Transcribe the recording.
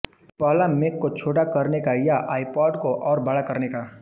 पहला मेक को छोटा करने का या आईपॉड को और बड़ा करने का